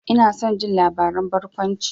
Ina son jin labaran barkwanci.